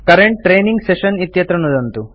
current training session इत्यत्र नुदन्तु